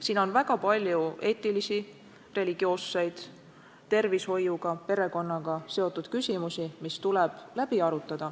Siin on väga palju eetilisi, religioosseid, tervishoiuga, perekonnaga seotud küsimusi, mis tuleb läbi arutada.